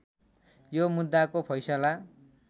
यो मुद्दाको फैसला